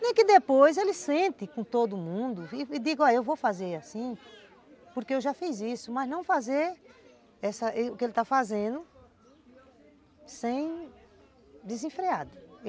Nem que depois ele sente com todo mundo e diga, ó, eu vou fazer assim porque eu já fiz isso, mas não fazer o que ele está fazendo sem desenfreado.